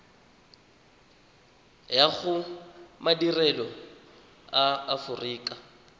ya go madirelo a aforika